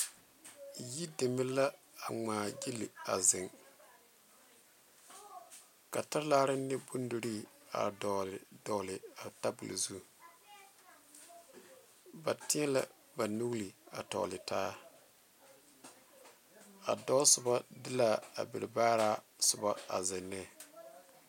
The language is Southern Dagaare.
Yideme la a ŋmaagyili a zeŋ ka talaare ne bondirii a dɔgle dɔgle a tabol zu ba teɛ la ba nuuri a tɔgle taa a dɔɔ soba de l,a a berebaaraa soba a zeŋ ne.